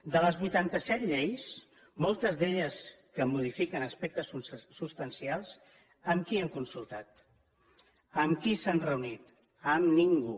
de les vuitanta set lleis moltes d’elles que modifiquen aspectes substancials amb qui han consultat amb qui s’han reunit amb ningú